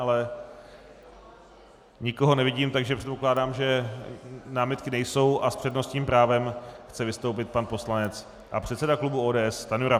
Ale nikoho nevidím, takže předpokládám, že námitky nejsou, a s přednostním právem chce vystoupit pan poslanec a předseda klubu ODS Stanjura.